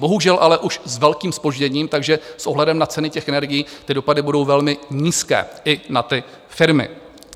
Bohužel ale už s velkým zpožděním, takže s ohledem na ceny těch energií ty dopady budou velmi nízké i na ty firmy.